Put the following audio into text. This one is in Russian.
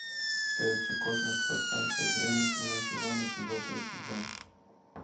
сериальчик космос пространство и время седьмой сезон эпизод тридцать два